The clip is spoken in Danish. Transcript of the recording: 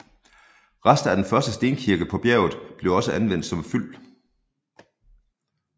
Rester af den første stenkirke på bjerget blev også anvendt som fyld